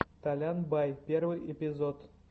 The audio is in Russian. толян бай первый эпизод